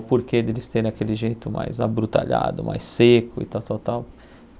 O porquê deles terem aquele jeito mais abrutalhado, mais seco e tal, tal, tal.